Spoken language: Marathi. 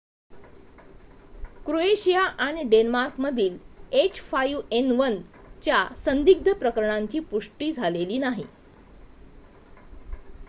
क्रोएशिया आणि डेन्मार्कमधील h5n1 च्या संदिग्ध प्रकरणांची पुष्टी झालेली नाही